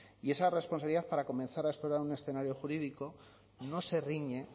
y esa responsabilidad para comenzar a explorar un escenario jurídico no se riñe